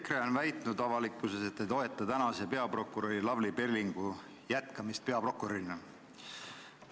EKRE on avalikkuses väitnud, et te ei toeta peaprokurör Lavly Perlingu jätkamist peaprokurörina.